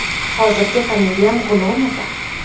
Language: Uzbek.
Hozirgi familiyam G‘ulomova.